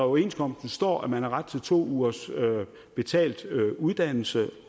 overenskomsten står at man har ret til to ugers betalt uddannelse